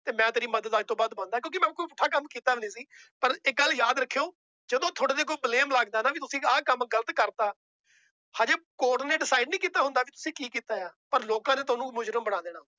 ਤੇ ਮੈਂ ਤੇਰੀ ਮਦਦ ਅੱਜ ਤੋਂ ਬੰਦ ਆ ਕਿਉਂਕਿ ਮੈਂ ਪੁੱਠਾ ਕੰਮ ਕੀਤਾ ਨੀ ਸੀ ਪਰ ਇੱਕ ਗੱਲ ਯਾਦ ਰੱਖਿਓ ਜਦੋਂ ਤੁਹਾਡੇ ਤੇ ਕੋਈ blame ਲੱਗਦਾ ਨਾ ਵੀ ਤੁਸੀਂ ਆਹ ਕੰਮ ਗ਼ਲਤ ਕਰ ਦਿੱਤਾ ਹਜੇ ਕੋਰਟ ਨੇ decide ਨੀ ਕੀਤਾ ਹੁੰਦਾ ਵੀ ਤੁਸੀਂ ਕੀ ਕੀਤਾ ਆ ਪਰ ਲੋਕਾਂ ਨੇ ਤੁਹਾਨੂੰ ਮੁਜ਼ਰਿਮ ਬਣਾ ਦੇਣਾ।